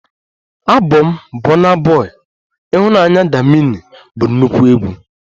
Abọm bọna bọi""Ịhụnanya, damini"" bụ nnukwu egwu